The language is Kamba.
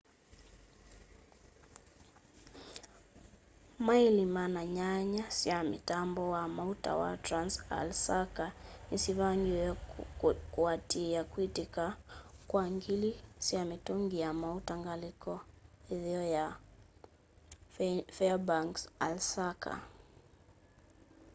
maĩli 800 sya mũtambo wa maũta wa trans-alaska nĩsyavingĩwe kũatĩĩa kwĩtĩka kwa ngili sya mĩtũngĩ ya maũta ngalĩko ĩtheo ya faĩrbanks alaska